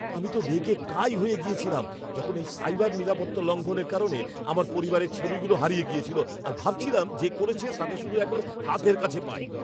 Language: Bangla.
আমি তো রেগে কাঁই হয়ে গেছিলাম যখন এই সাইবার নিরাপত্তা লঙ্ঘনের কারণে আমার পরিবারের ছবিগুলো হারিয়ে গেছিলো আর ভাবছিলাম যে করেছে তাকে শুধু একবার হাতের কাছে পাই!